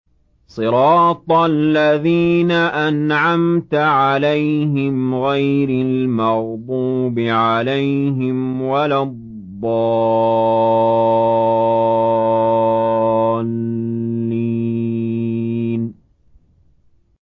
صِرَاطَ الَّذِينَ أَنْعَمْتَ عَلَيْهِمْ غَيْرِ الْمَغْضُوبِ عَلَيْهِمْ وَلَا الضَّالِّينَ